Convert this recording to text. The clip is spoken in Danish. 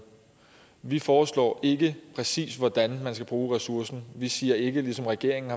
vi foreslår ikke præcis hvordan man skal bruge ressourcen vi siger ikke ligesom regeringen